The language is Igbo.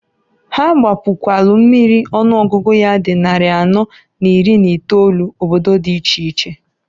Ha gbapukwalu mmiri ọnụọgụgụ ya di nnarị anọọ na iri n'itolu, obodo di iche iche.